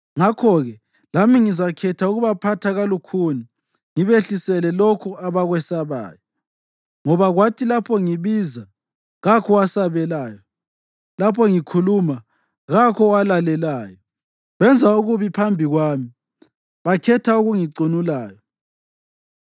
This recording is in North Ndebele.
ngakho-ke lami ngizakhetha ukubaphatha kalukhuni, ngibehlisele lokho abakwesabayo. Ngoba kwathi lapho ngibiza, kakho owasabelayo, lapho ngikhuluma, kakho owalalelayo. Benza okubi phambi kwami, bakhetha okungicunulayo.”